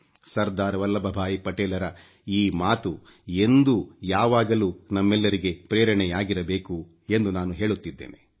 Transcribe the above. ಸರ್ದಾರ್ ವಲ್ಲಬ್ ಭಾಯಿ ಪಟೇಲರ ಮಾತು ಎಂದೂ ಯಾವಾಗಲೂ ನಮ್ಮೆಲ್ಲರಿಗೆ ಪ್ರೇರಣೆಯಾಗಿರಬೇಕು ಎಂದು ನಾನು ಹೇಳುತ್ತಿದ್ದೇನೆ